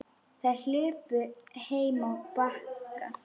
Þær hlupu heim á Bakka.